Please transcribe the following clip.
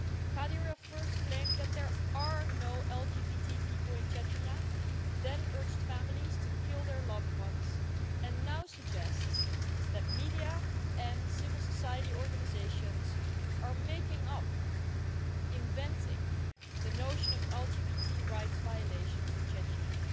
Kadyrov first claimed that there are no LGBTI people in Chechnya, then urged families to kill their loved ones and now suggests that media and civil society organisations are making up, inventing, the notion of LGBTI rights violations in Chechnya.